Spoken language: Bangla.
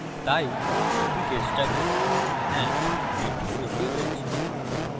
তাই এটি চেষ্টা করি হ্যাঁ এটি ok বলছে